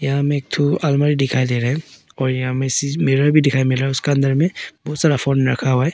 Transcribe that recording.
यहाँ में एक तो अलमारी दिखाई दे रहा है और यहां में सी मिरर भी दिखाई मिला उसके अंदर में बहुत सारा फोन रखा हुआ है।